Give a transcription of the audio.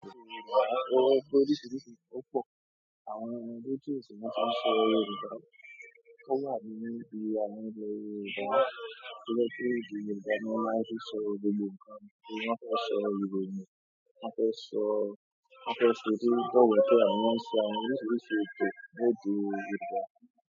Oríṣiríṣi ọ̀pọ̀ àwọn ẹgbẹ́ tí ó sì máa ń sọ Yorùbá. Kọ́lá àbí Moíbi àbí Olú Yorùbá. Ọ̀pọ̀lọpọ̀ èdè Yorùbá ni wọ́n máa ń fi sọ gbogbo nǹkan. Wọn báa fẹ́ sọ ìròyìn, wọ́n á fẹ́ sọ, wọ́n á fẹ́ sọ èdè ìbọ̀wẹ́ kí wọ́n sì máa ń sọ oríṣiríṣi èdè tó máa di Yorùbá.